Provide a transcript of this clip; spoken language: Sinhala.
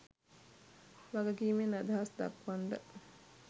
වගකීමෙන් අදහස් දක්වන්ඩ